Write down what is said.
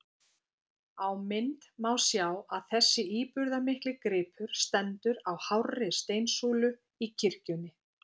Á mynd má sjá að þessi íburðarmikli gripur stendur á hárri steinsúlu í kirkjunni.